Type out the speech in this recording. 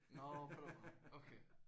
Nåh på den måde okay